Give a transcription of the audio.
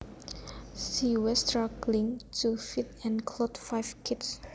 She was struggling to feed and clothe five kids